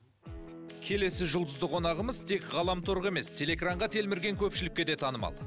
келесі жұлдызды қонағымыз тек ғаламторға емес телеэкранға телмірген көпшілікке де танымал